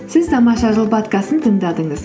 сіз тамаша жыл подкастын тыңдадыңыз